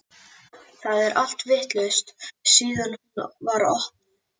Það er allt vitlaust síðan hún var opnuð.